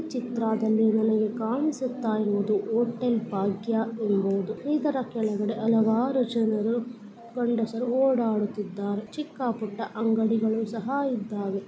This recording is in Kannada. ಚಿತ್ರಾದಲ್ಲಿ ನನಗೆ ಕಾಣಿಸುತ್ತಾ ಇರುವುದು ಹೋಟೆಲ್ ಭಾಗ್ಯ ಎಂಬುವುದು ಇದರ ಕೇಳಗಡೆ ಹಲವಾರು ಜನರು ಗಂಡಸರು ಓಡಾಡುತ್ತಿದ್ದಾರೆ ಚಿಕ್ಕ ಪುಟ್ಟ ಅಂಗಡಿಗಳು ಸಹ ಇದ್ದಾವೆ .